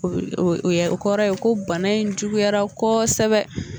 O bɛ o bɛ o yɛrɛ o kɔrɔ ye ko bana in juguyara kosɛbɛ.